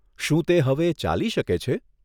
શું તે હવે ચાલી શકે છે?